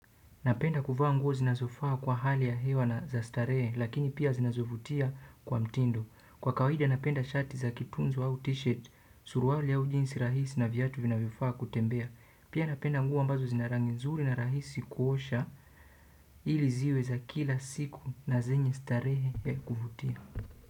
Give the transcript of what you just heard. Napenda kuvaa nguo zinazofaa kwa hali ya hewa na za starehe lakini pia zinazovutia kwa mtindo. Kwa kawaida napenda shati za kitunzo au t-shirt suruali au jinsi rahisi na viatu vinavyofaa kutembea. Pia napenda nguo ambazo zina rangi nzuri na rahisi kuosha ili ziwe za kila siku na zenye starehe ya kuvutia.